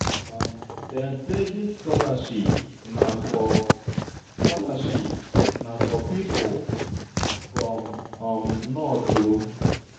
Dem sey dis scholarship na for pipu from north o.